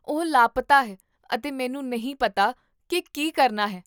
ਉਹ ਲਾਪਤਾ ਹੈ ਅਤੇ ਮੈਨੂੰ ਨਹੀਂ ਪਤਾ ਕੀ ਕੀ ਕਰਨਾ ਹੈ